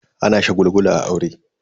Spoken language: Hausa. Ana shagulgula a aure.